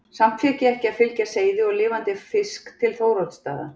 Samt fékk ég ekki að flytja seiði og lifandi fisk til Þóroddsstaða.